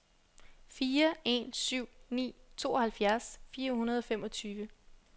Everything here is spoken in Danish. fire en syv ni tooghalvfjerds fire hundrede og femogtyve